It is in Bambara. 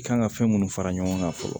I kan ka fɛn minnu fara ɲɔgɔn kan fɔlɔ